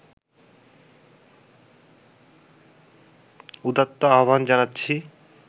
উদাত্ত আহ্বান জানাচ্ছি